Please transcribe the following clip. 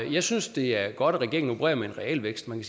jeg synes at det er godt at regeringen opererer med en realvækst man